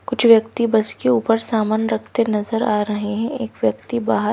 कुछ व्यक्ति बस के ऊपर सामान रखते नजर आ रहे हैं एक व्यक्ति बाहर--